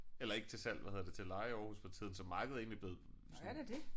Eller ikke til salg hvad hedder det til leje i Aarhus for tiden så markedet er egentlig blevet sådan